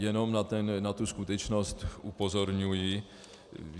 Jenom na tu skutečnost upozorňuji.